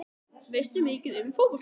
Veistu mikið um fótbolta?